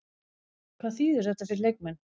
Hvað þýðir þetta fyrir leikmenn?